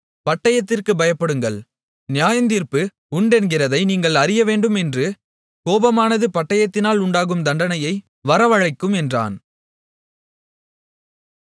பட்டயத்திற்குப் பயப்படுங்கள் நியாயத்தீர்ப்பு உண்டென்கிறதை நீங்கள் அறியவேண்டுமேன்று கோபமானது பட்டயத்தினால் உண்டாகும் தண்டனையை வரவழைக்கும் என்றான்